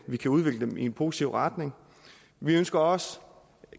vi kan udvikle dem i en positiv retning vi ønsker også